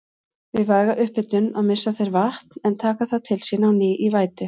Við væga upphitun missa þeir vatn en taka það til sín á ný í vætu.